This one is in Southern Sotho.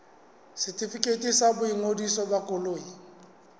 setefikeiti sa boingodiso ba koloi